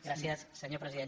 gràcies senyor president